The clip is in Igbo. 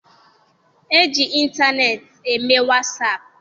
E ji ịntaneetị eme wasaapụ.